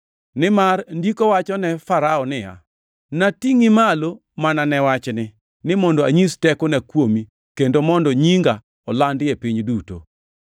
Nimar Ndiko wacho ne Farao niya, “Natingʼi malo mana ne wachni, ni mondo anyis tekona kuomi kendo mondo nyinga olandi e piny duto.” + 9:17 \+xt Wuo 9:16\+xt*